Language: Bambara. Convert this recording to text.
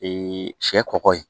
sɛ kɔkɔ ye